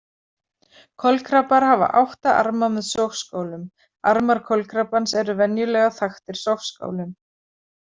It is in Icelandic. Kolkrabbar hafa átta arma með sogskálum Armar kolkrabbans eru venjulega þaktir sogskálum.